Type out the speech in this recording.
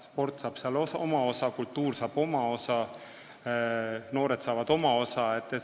Sport saab oma osa, kultuur saab oma osa, noored saavad oma osa.